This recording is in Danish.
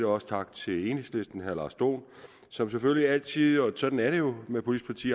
også tak til enhedslisten og herre lars dohn som selvfølgelig altid og sådan er det jo med politiske